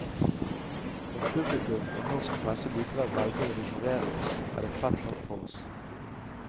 Om publikum og norsk presse likevel velger å ignorere oss, er det fett nok for oss.